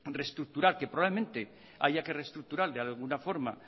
reestructurar que probablemente haya que reestructurar de alguna forma